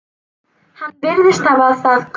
Hann virðist hafa það gott.